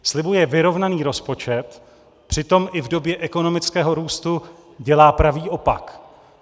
Slibuje vyrovnaný rozpočet, přitom i v době ekonomického růstu dělá pravý opak.